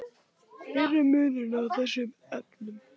Hver er munurinn á þessum efnum?